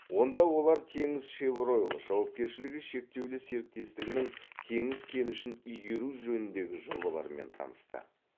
онда олар теңізшевройл жауапкершілігі шектеулі серіктестігінің теңіз кенішін игеру жөніндегі жобаларымен танысты